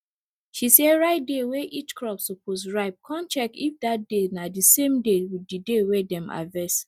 she sey write day wey each crop suppose ripe con check if that day na di same with day wey dem harvest